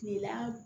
Kilela